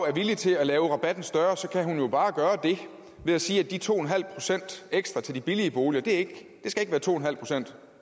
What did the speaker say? er villig til at lave rabatten større kan hun jo bare gøre det ved at sige at de to en halv procent ekstra til de billige boliger ikke skal være to en halv procent